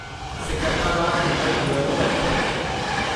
Secunderabad Mumbai Duronto express